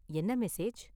என்ன மெசேஜ்?